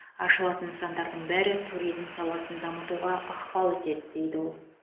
ашылатын нысандардың бәрі туризм саласын дамытуға ықпал етеді дейді ол